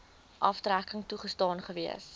aftrekking toegestaan gewees